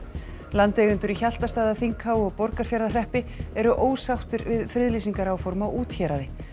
landeigendur í Hjaltastaðaþinghá og Borgarfjarðarhreppi eru ósáttir við friðlýsingaráform á úthéraði